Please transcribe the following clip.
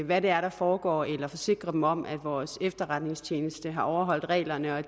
hvad det er der foregår eller forsikre den om at vores efterretningstjeneste har overholdt reglerne at